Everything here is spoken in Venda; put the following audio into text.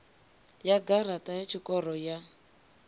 ya garaṱa ya tshikoro ya